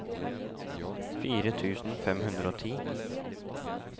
fire tusen fem hundre og ti